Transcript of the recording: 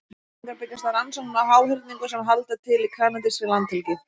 Þessar upplýsingar byggjast á rannsóknum á háhyrningum sem halda til í kanadískri landhelgi.